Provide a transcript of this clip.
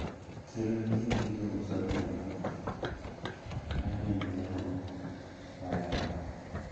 Chiro nitiere gi jous olemo ma jonyiewo ohero.